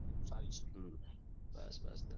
હમ બસ બસ